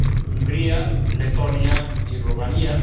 Hungría, Letonia y Rumanía.